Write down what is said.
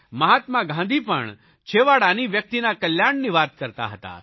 મહાત્મા ગાંધી પણ છેવાડાની વ્યકિતના કલ્યાણની વાત કરતા હતા